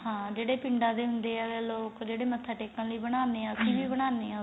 ਹਾਂ ਜਿਹੜਾ ਪਿੰਡਾ ਦੇ ਹੁੰਦੇ ਏ ਲੋਕ ਜਿਹੜੇ ਮਥਾ ਟੇਕਣ ਲਈ ਬਣਾਨੇ ਆ ਬਣਾਨੇ ਆ